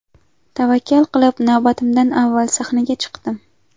Tavakkal qilib navbatimdan avval sahnaga chiqdim.